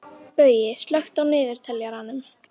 Baui, slökktu á niðurteljaranum.